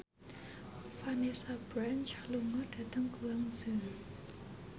Vanessa Branch lunga dhateng Guangzhou